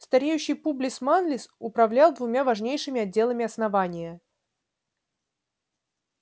стареющий публис манлис управлял двумя важнейшими отделами основания